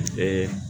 U bɛ